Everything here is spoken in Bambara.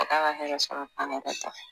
Ka taa ka hɛrɛ sɔrɔ